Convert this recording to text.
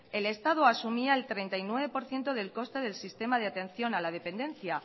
el estado asumía el treinta y nueve por ciento del coste del sistema de atención a la dependencia